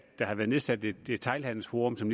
der har været nedsat et detailhandelsforum som